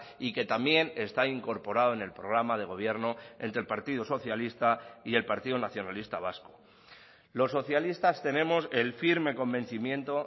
y que también está incorporado en el programa de gobierno entre el partido socialista y el partido nacionalista vasco los socialistas tenemos el firme convencimiento